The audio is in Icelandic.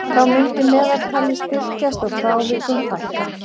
Þá myndi meðaltalið styrkjast og frávikum fækka.